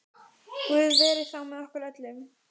Guð veri þá með okkur öllum.